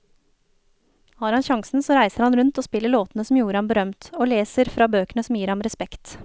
Har han sjansen så reiser han rundt og spiller låtene som gjorde ham berømt, og leser fra bøkene som gir ham respekt.